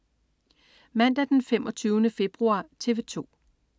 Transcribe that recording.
Mandag den 25. februar - TV 2: